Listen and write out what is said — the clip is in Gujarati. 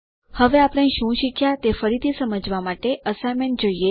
હવે આપણે શું શીખ્યા તે ફરીથી સમજવા માટે અસાઇન્મેન્ટ જોઈએ